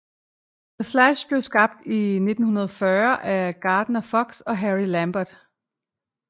The Flash blev skabt i 1940 af Gardner Fox og Harry Lampert